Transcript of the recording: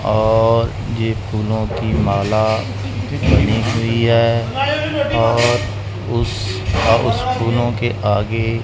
और ये फूलों की माला गिनी हुई हैं और उस उस फूलों के आगे--